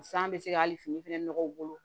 San bɛ se ka hali fini fɛnɛ nɔgɔ u bolo